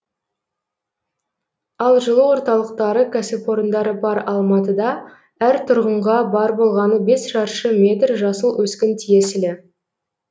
ал жылу орталықтары кәсіпорындары бар алматыда әр тұрғынға бар болғаны бес шаршы метр жасыл өскін тиесілі